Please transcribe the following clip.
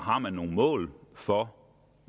har nogle mål for